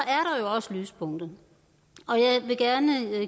er også lyspunkter og jeg vil gerne